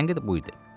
Tənqid budur.